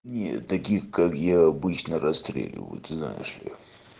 не таких как я обычно расстреливают знаешь ли